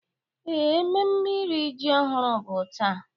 Ee, mmemme iri ji ọhụrụ bụ taa.